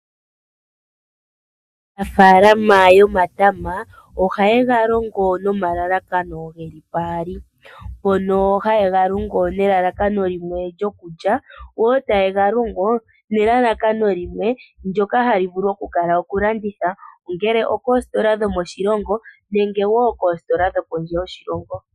Aanafaalama yomatama ohaye galongo nomalalakano geli paali mpono ha ya longo nelalakano limwe lyokulya woo tayega longo nelalakano limwe ndjoka hali vulu okukala okulanditha ongele ookoositola dhomoshilongo nenge woo koositola dho kondje yoshilongo.